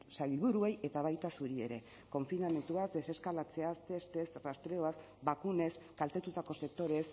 sailburuei eta baita zuriei ere konfinamenduaz deseskalatzeaz testez rastreoaz bakunez kaltetutako sektoreez